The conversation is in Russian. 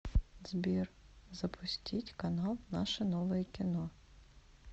сбер запустить канал наше новое кино